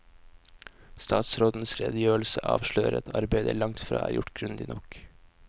Statsrådens redegjørelse avslører at arbeidet langtfra er gjort grundig nok.